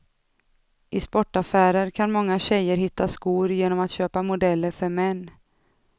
I sportaffärer kan många tjejer hitta skor genom att köpa modeller för män.